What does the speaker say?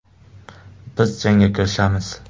Biz jangga kirishamiz.